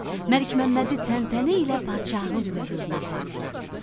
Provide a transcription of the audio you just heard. Məlikməmmədi təntənə ilə padişahın hüzuruna apardılar.